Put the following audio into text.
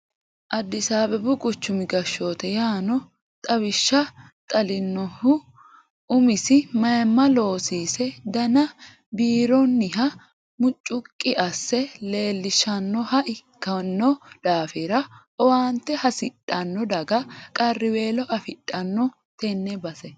Addisi Abebu quchumi gashshoote yanno xawishsha xalinonihu umise mayimma loosise dana biironiha mucuqi asse leelishanoha ikkino daafira owaante hasidhano daga qariwelo affidhano tene base.